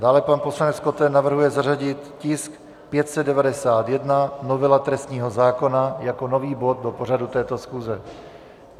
Dále pan poslanec Koten navrhuje zařadit tisk 591, novela trestního zákona, jako nový bod do pořadu této schůze.